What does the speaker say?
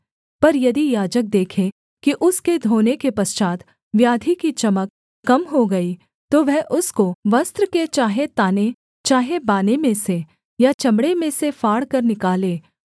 पर यदि याजक देखे कि उसके धोने के पश्चात् व्याधि की चमक कम हो गई तो वह उसको वस्त्र के चाहे ताने चाहे बाने में से या चमड़े में से फाड़कर निकाले